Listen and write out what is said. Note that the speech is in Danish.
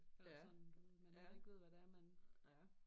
Eller sådan du ved man ikke ved hvad det er man